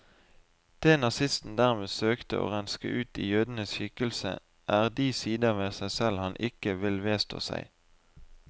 Det nazisten dermed søkte å renske ut i jødens skikkelse, er de sider ved seg selv han ikke vil vedstå seg.